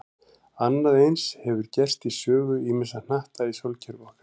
Annað eins hefur gerst í sögu ýmissa hnatta í sólkerfi okkar.